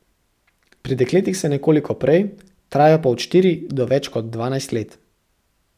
Pri dekletih se nekoliko prej, trajajo pa od štiri do več kot dvanajst let.